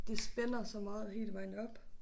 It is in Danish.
Det spænder så meget hele vejen op